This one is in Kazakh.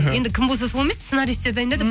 енді кім болса сол емес сценарийстер дайындады